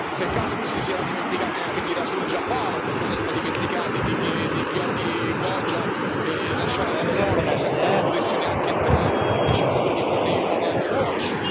Peccato che si siano dimenticati anche di Rasul Jafarov, che si siano dimenticati di Giorgi Gogia, lasciato all'aeroporto senza che potesse neanche entrare, lasciando quindi fuori Human Rights Watch.